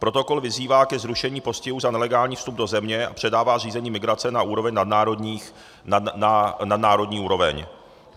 Protokol vyzývá ke zrušení postihu za nelegální vstup do země a předává řízení migrace na nadnárodní úroveň.